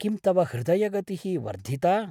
किं तव हृदयगतिः वर्धिता?